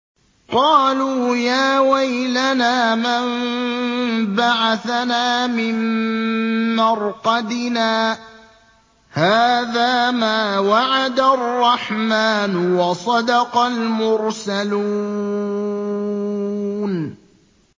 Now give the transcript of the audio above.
قَالُوا يَا وَيْلَنَا مَن بَعَثَنَا مِن مَّرْقَدِنَا ۜۗ هَٰذَا مَا وَعَدَ الرَّحْمَٰنُ وَصَدَقَ الْمُرْسَلُونَ